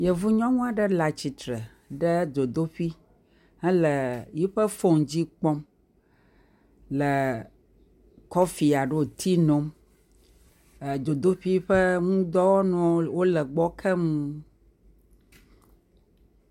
Yevu nyɔnu aɖe le atsitre ɖe dzodoƒui hele eƒe fone dzi kpɔm le kɔfi alo tea nom. Dzodoƒui ƒe nudɔwɔnuwo le gbɔ keŋ.